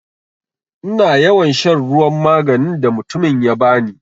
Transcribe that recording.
Ina yawan shan ruwan maganin da mutumin ya bani.